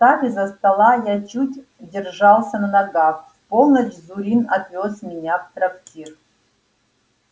встав из-за стола я чуть держался на ногах в полночь зурин отвёз меня в трактир